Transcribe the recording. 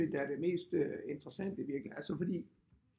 Sådan set er det mest interessante i virkeligheden altså fordi